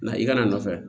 Na i kana a nɔfɛ